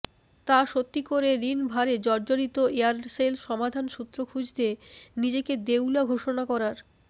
তা সত্যি করে ঋণ ভারে জর্জরিত এয়ারসেল সমাধানসূত্র খুঁজতে নিজেকে দেউলিয়া ঘোষণা করার